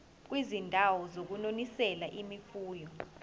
kwizindawo zokunonisela imfuyo